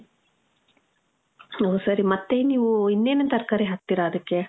ಓ ಸರಿ. ಮತ್ತೇನ್ ನೀವು ಇನ್ನೆನೇನ್ ತರ್ಕಾರಿ ಹಾಕ್ತೀರ ಅದಕ್ಕೆ?